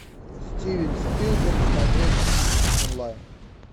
стивен спилберг смотреть онлайн